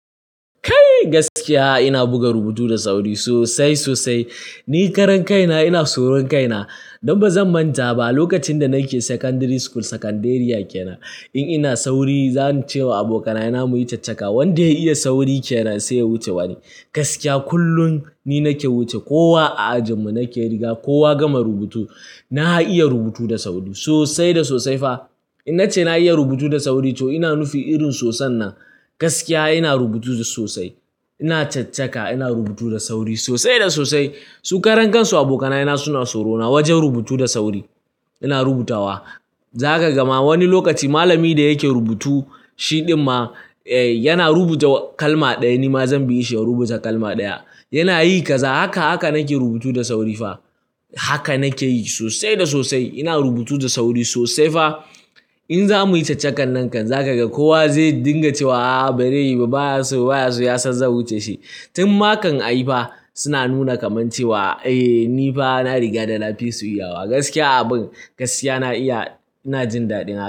Kai! Gaskiya ina buga rubutu da sauri sosai sosai. Ni karan kaina, ina tsoron kaina. Don ba zan manta ba, lokacin da nake secondary school sakanderiya ke na, in ina sauri zan ce wa abokanaye na muyi caccaka wanda ya iya sauri kenan sai ya wuce wani. Gaskiya kullum ni nake wuce. Kowa a ajinmu nake riga, kowa ya gama rubutu na iya rubutu da sauri sosai da sosai fa. In nace na iya rubutu da sauri to ina nufi irin sosain nan. Gaskiya ina rubutu sosai. Ina caccaka ina rubutu da sauri sosai da sosai. Su karan kansu abokanaye na suna tsorona wajen rubutu da sauri. Ina rubutawa. Za ka ga ma wani lokaci malami da yake rubutu shi ɗin ma yana rubuta kalma ɗaya, nima zan bi shi in rubuta kalma ɗaya. Yana yi kaza, haka nake rubutu da sauri fa. Haka nake yi sosai da sosai. Ina rubutu da sauri sosai fa. In za muyi caccakan nan kan za ka ga kowa zai dinga cewa "a'a, bare yi ba, baya so, ba ya so" ya san zan wuce shi. Tun ma kan a yi fa suna nuna kamar cewa "eh ni fa na riga da na fi su yawa". Gaskiya abin, gaskiya na iya, ina jin dadina.